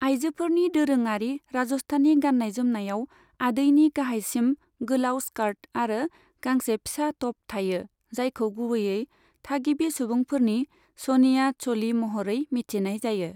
आइजोफोरनि दोरोङारि राजस्थानी गाननाय जोमनायाव आदैनि गाहायसिम गोलाव स्कर्ट आरो गांसे फिसा ट'प थायो, जायखौ गुबैयै थागिबि सुबुंफोरनि चनिया च'ली महरै मिथिनाय जायो।